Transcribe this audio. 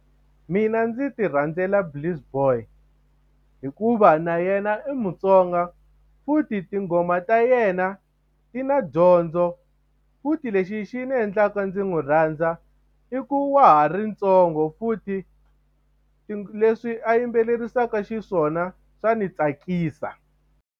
Mina ndzi ti rhandzela Bliss boy hikuva na yena i Mutsonga futhi tinghoma ta yena ti na dyondzo futhi lexi xi ndzi endlaka ndzi n'wi rhandza i ku wa ha ri ntsongo futhi leswi a yimbelerisaka xiswona swa ni tsakisa.